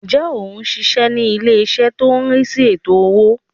Ǹjẹ́ ò n síse ní ilé-ìṣẹ́ tó n rí sí ètò owó